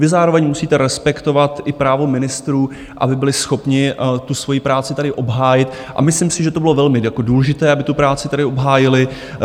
Vy zároveň musíte respektovat i právo ministrů, aby byli schopni tu svoji práci tady obhájit, a myslím si, že to bylo velmi důležité, aby tu práci tady obhájili.